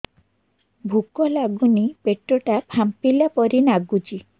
ଭୁକ ଲାଗୁନି ପେଟ ଟା ଫାମ୍ପିଲା ପରି ନାଗୁଚି